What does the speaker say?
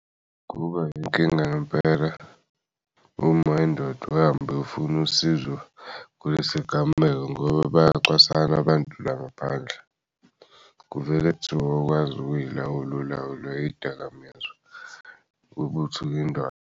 Kuba yinkinga ngempela uma indoda ihambe iyofuna usizo kuy'sigameko ngoba bayacwasana abantu la ngaphandle kuvele kuthiwa awukwazi ukuy'lawula y'dakamizwa ukuthi .